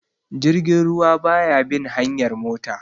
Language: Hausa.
Jirgin ruwa ba ya bin hanyar mota